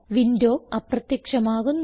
window അപ്രത്യക്ഷമാകുന്നു